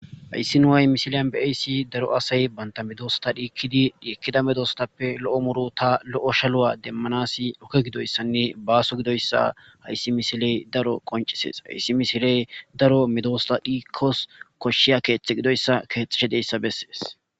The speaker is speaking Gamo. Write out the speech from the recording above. Hayssi nu'ay misiliyan be ayssi daro asay banta midoosta dhiikkidi dhiikkida medostappe lo'o muru ta lo'o shaluwa demmanasi oke gidoyssanne baaso gidoyssa hayssi misiley daro qoncisees hayssi misiley daro medoosta dhiikkos koshshiya keexthe gidoyssa keexeshedeyssa bessees.